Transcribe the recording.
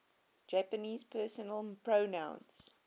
japanese personal pronouns